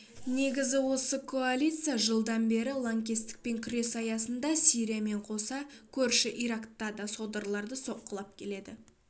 негізі осы коалиция жылдан бері лаңкестікпен күрес аясында сириямен қоса көрші иракта да содырларды соққылап келеді